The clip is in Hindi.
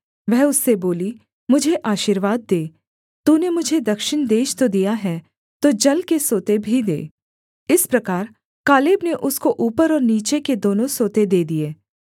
वह उससे बोली मुझे आशीर्वाद दे तूने मुझे दक्षिण देश तो दिया है तो जल के सोते भी दे इस प्रकार कालेब ने उसको ऊपर और नीचे के दोनों सोते दे दिए